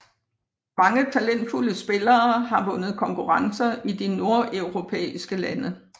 Mange talentfulde spillere har vundet konkurrencer i de nordeuropæiske lande